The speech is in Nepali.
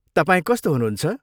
तपाईँ कस्तो हुनुहुन्छ?